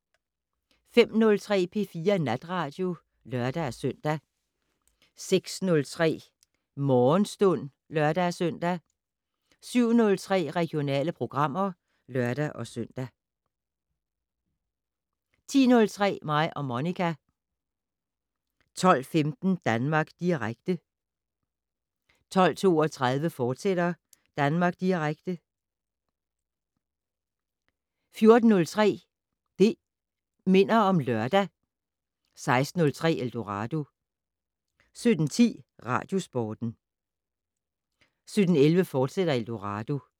05:03: P4 Natradio (lør-søn) 06:03: Morgenstund (lør-søn) 07:03: Regionale programmer (lør-søn) 10:03: Mig og Monica 12:15: Danmark Direkte 12:32: Danmark Direkte, fortsat 14:03: Det' Minder om Lørdag 16:03: Eldorado 17:10: Radiosporten 17:11: Eldorado, fortsat